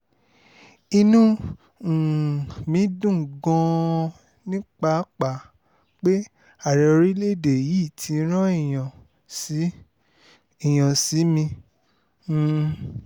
inú um mi dùn gan-an ni pàápàá pé ààrẹ orílẹ̀-èdè yìí ti rán èèyàn sí èèyàn sí mi um